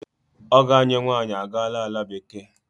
Ọgọ ànyị nwaanyị a gaala ala bekee.